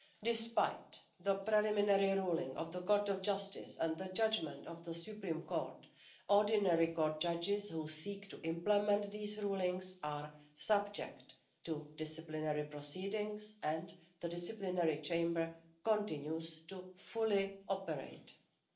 Despite the preliminary ruling of the Court of Justice and the judgment of the Supreme Court, ordinary court judges who seek to implement these rulings are subject to disciplinary proceedings and the disciplinary chamber continues to operate in full.